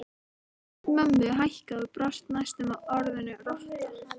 Rödd mömmu hækkaði og brast næstum á orðinu rotta